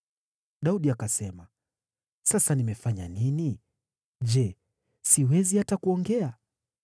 Daudi akasema, “Sasa nimefanya nini? Je, siwezi hata kuongea.”